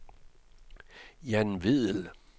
Jan Vedel